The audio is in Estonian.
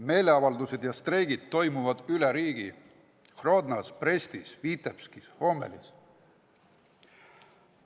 Meeleavaldused ja streigid toimuvad üle riigi: Grodnas, Brestis, Vitebskis, Gomelis.